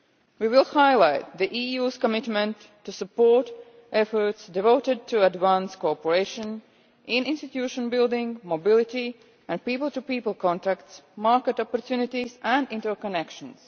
We will highlight the EU's commitment to supporting efforts devoted to advance cooperation in institution building, mobility and people to people contacts, market opportunities and interconnections.